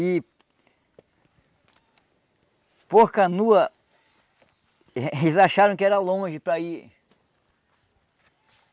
E... Por canoa, e eles acharam que era longe para ir.